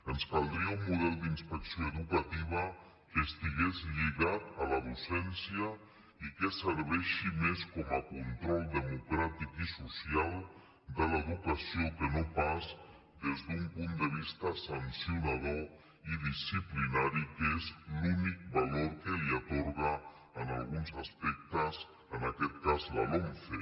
ens caldria un model d’inspecció educativa que estigués lligat a la docència i que servís més com a control democràtic i social de l’educació que no pas des d’un punt de vista sancionador i disciplinari que és l’únic valor que li atorga en alguns aspectes en aquest cas la lomce